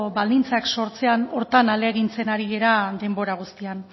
baldintzak sortzean horretan ahalegintzen ari gara denbora guztian